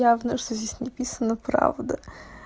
явно что здесь написано правда